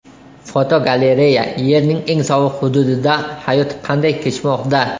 Fotogalereya: Yerning eng sovuq hududida hayot qanday kechmoqda?.